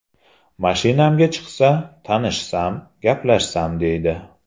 Mashinamga chiqsa, tanishsam, gaplashsam deydi.